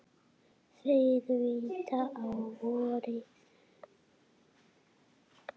Þeir vita á vorið.